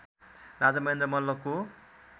Raja Mahendra मल्लको